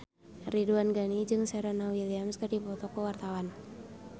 Ridwan Ghani jeung Serena Williams keur dipoto ku wartawan